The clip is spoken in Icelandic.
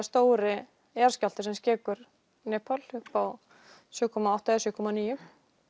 stóri jarðskjálfti sem skekur Nepal upp á sjö komma átta eða sjö komma níu